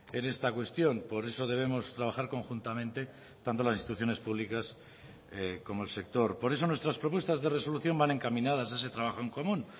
en esta cuestión por eso debemos trabajar conjuntamente tanto las instituciones públicas como el sector por eso nuestras propuestas de resolución van encaminadas a ese trabajo en común